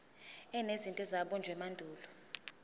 enezinto ezabunjwa emandulo